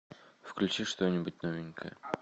включи что нибудь новенькое